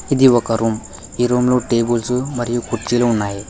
ఇది ఒక రూమ్ ఈ రూమ్లో టేబుల్సు మరియు కుర్చీలో ఉన్నవి.